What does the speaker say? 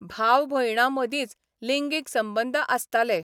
भावा भयणां मदींच लिंगीक संबंद आसताले.